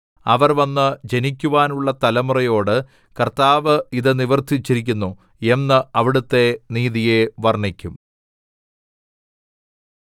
അവർ വന്ന് ജനിക്കുവാനുള്ള തലമുറയോട് കർത്താവ് ഇത് നിവർത്തിച്ചിരിക്കുന്നു എന്ന് അവിടുത്തെ നീതിയെ വർണ്ണിക്കും